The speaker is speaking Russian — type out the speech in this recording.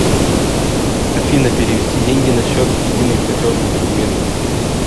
афина перевести деньги на счет единый платежный документ